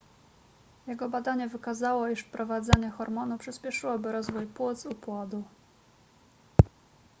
jego badanie wykazało iż wprowadzenie hormonu przyspieszyłoby rozwój płuc u płodu